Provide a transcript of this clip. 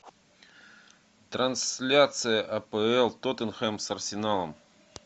трансляция апл тоттенхэм с арсеналом